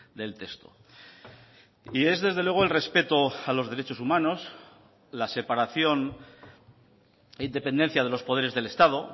del texto y es desde luego el respeto a los derechos humanos las separación e independencia de los poderes del estado